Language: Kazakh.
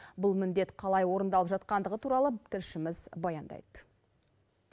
бұл міндет қалай орындалып жатқандығы туралы тілшіміз баяндайды